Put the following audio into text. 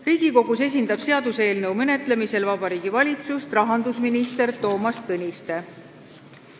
Riigikogus esindab seaduseelnõu menetlemisel Vabariigi Valitsust rahandusminister Toomas Tõniste.